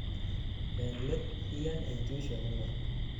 en let, iyan intuition ingung